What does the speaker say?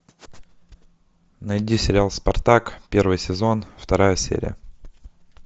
найди сериал спартак первый сезон вторая серия